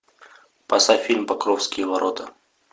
поставь фильм покровские ворота